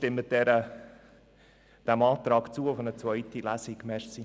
Deshalb bitte ich Sie, dem Antrag auf eine zweite Lesung zuzustimmen.